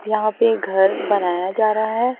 यहाँ पे घर बनाया जा रहा हैं।